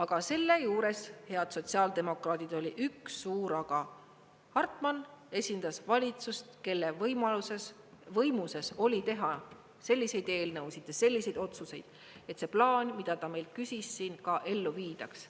Kuid selle juures, head sotsiaaldemokraadid, oli üks suur aga: Hartman esindas valitsust, kelle võimuses oli teha selliseid eelnõusid ja selliseid otsuseid, et see plaan, mida ta meilt küsis, siin ka ellu viidaks.